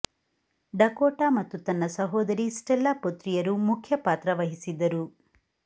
Dakota ಮತ್ತು ತನ್ನ ಸಹೋದರಿ ಸ್ಟೆಲ್ಲಾ ಪುತ್ರಿಯರು ಮುಖ್ಯ ಪಾತ್ರ ವಹಿಸಿದ್ದರು